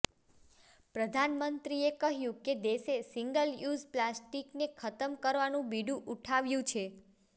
પ્રધાનમંત્રીએ કહયું કે દેશે સીંગલ યુઝ પ્લાસ્ટીકને ખતમ કરવાનું બિડુ ઉઠાવ્યું છે